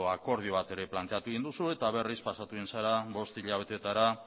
akordio bat ere planteatu egin duzue eta berriz pasatu egin zara bost hilabeteetara